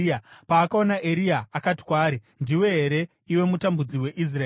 Paakaona Eria, akati kwaari, “Ndiwe here, iwe mutambudzi weIsraeri?”